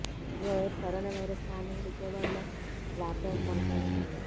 ఓవైపు corona virus కారణంగా విజయవాడలో లాక్ డౌన్ కొనసాగుతోంది